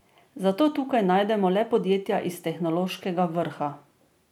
Zato tukaj najdemo le podjetja iz tehnološkega vrha.